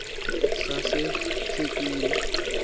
sasethekwini